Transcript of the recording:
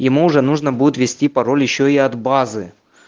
ему уже нужно будет ввести пароль ещё и от базы